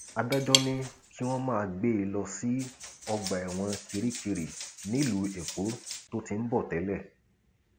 adájọ ní kí wọn máa gbé e lọ sí ọgbà ẹwọn kirikiri nílùú èkó tó ti ń bọ tẹlẹ